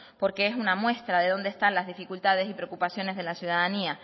porque es una muestra de dónde están las dificultades y preocupaciones de la ciudadanía